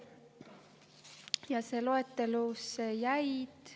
Ja loetelusse jäid …